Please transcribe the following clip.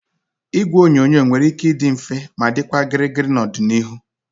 Igwe onyonyo nwere ike ịdị mfe ma dịkwa gịrịgịrị n'ọdịnihu